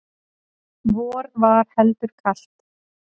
vor var heldur kalt